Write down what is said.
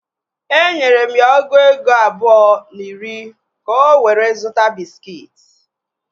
Enyere m ya ọgụ ego abụọ na iri ka o were zụta bịskit